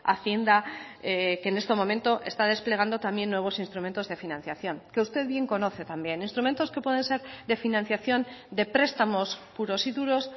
hacienda que en este momento está desplegando también nuevos instrumentos de financiación que usted bien conoce también instrumentos que pueden ser de financiación de prestamos puros y duros